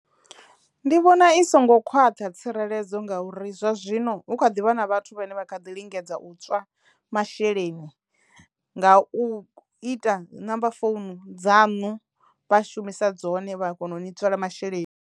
Ndi vhona i songo khwaṱha tsireledzo ngauri zwa zwino hu kha ḓivha na vhathu vhane vha kha ḓi lingedza u tswa masheleni nga u ita number founu dza ṋu vha shumisa dzone vha a kono u ni tswela masheleni.